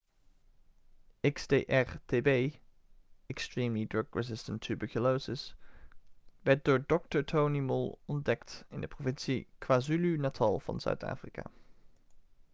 xdr-tb extremely drug resistant tuberculosis werd door dr. tony moll ontdekt in de provincie kwazulu-natal van zuid-afrika